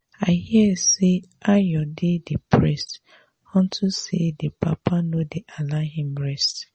i hear say ayo dey depressed unto say the papa no dey allow him rest